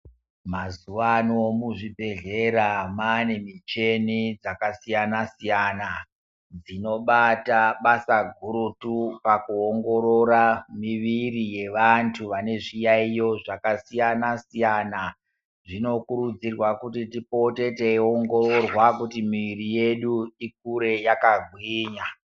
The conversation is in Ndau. Mazuwano muzvi bhehlera mane michini dzakasiyana-siyana, dzinobata basa gurutu paku ongororwa mwiri yevantu vane zviyaiyo zvakasiyana -siyana. Zvino kududzirwa kuti ripote tichi ongororwa kuti mwiri yedu ikure yakagwinya.